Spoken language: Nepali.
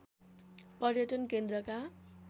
पर्यटन केन्द्रका